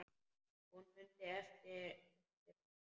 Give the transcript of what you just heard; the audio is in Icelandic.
Hún mundi eftir honum.